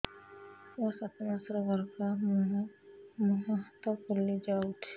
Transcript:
ମୋ ସାତ ମାସର ଗର୍ଭ ମୋ ମୁହଁ ହାତ ପାଦ ଫୁଲି ଯାଉଛି